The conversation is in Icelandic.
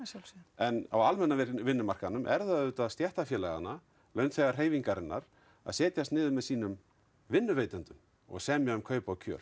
en á vinnumarkaðnum er það auðvitað stéttarfélaganna launþegahreyfingarinnar að setjast niður með sínum vinnuveitendum og semja um kaup og kjör